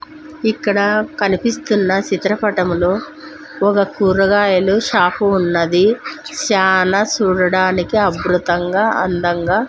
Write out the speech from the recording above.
ఇక్కడ కనిపిస్తున్న చిత్రపటములో ఒక కూరగాయలు షాపు ఉన్నది చానా చూడడానికి అబృతంగ అందంగా.